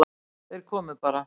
Þeir komu bara.